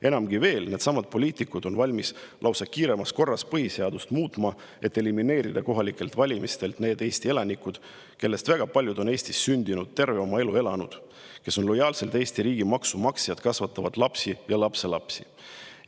Enamgi veel, needsamad poliitikud on valmis lausa kiirkorras põhiseadust muutma, et elimineerida kohalikelt valimistelt need Eesti elanikud, kellest väga paljud on Eestis sündinud, terve oma elu siin elanud, kes on lojaalsed Eesti riigi maksumaksjad, kasvatavad siin lapsi ja lapselapsi.